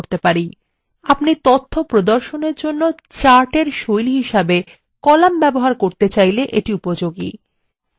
আপনারা তথ্য প্রদর্শনের জন্য chartএর style হিসাবে কলাম ব্যবহার করতে চাইলে এটি উপযোগী